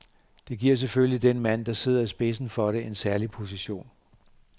Det giver selvfølgelig den mand, der sidder i spidsen for det, en særlig position.